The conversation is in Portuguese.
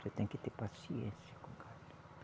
Você tem que ter paciência com o gado.